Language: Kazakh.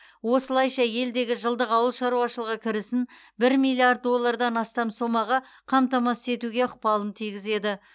осылайша елдегі жылдық ауыл шаруашылығы кірісін бір миллиард доллардан астам сомаға қамтамасыз етуге ықпалын тигізеді